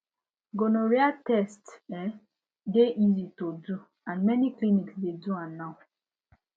gonorrhea test um de easy to do and many clinics de do am now